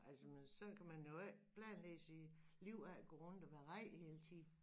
Altså men sådan kan man jo ikke planlægge sit liv af at gå rundt og være ræd hele tiden